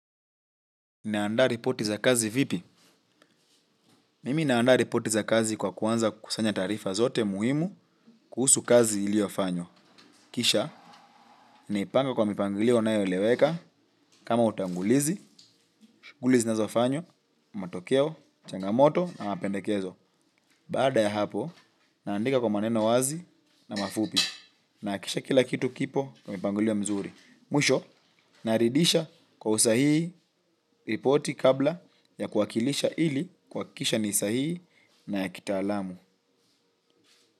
Naandaa ripoti za kazi vipi? Mimi naandaa ripoti za kazi kwa kuanza kusanya taarifa zote muhimu kuhusu kazi iliofanywa. Kisha, naipanga kwa mipangilio inayo eleweka, kama utangulizi, shughuli zinazo fanywa, matokeo, changamoto na mapendekezo. Baada ya hapo, naandika kwa maneno wazi na mafupi. Nahakikisha kila kitu kipo kwa mpangilio mzuri. Mwisho, naridisha kwa usahihi ripoti kabla ya kuwakilisha ili kuhakisha ni sahihi na ya kitaalamu.